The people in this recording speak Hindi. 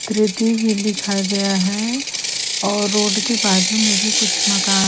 तृतिवी लिखा गया है और रोड के बाजु में भी कुछ मकान--